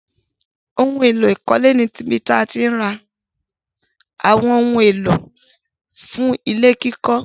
Óhun èlò ìkọ́lé ni ibí tí àti ǹ rà awọn ohun èlò fún ilẹ̀-kikọ̀.